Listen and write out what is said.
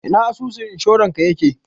Ina asusun inshorarka yake?